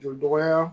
Jɔ dɔgɔya